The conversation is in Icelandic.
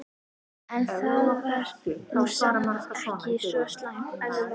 En það var nú samt ekki svo slæmt.